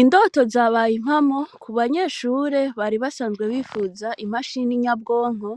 Indoto zabaye impamo kubanyeshure bari basanzwe bipfuza imachine nyabwonko